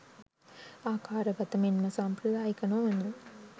ආකාරගත මෙන්ම සම්ප්‍රදායික නොවන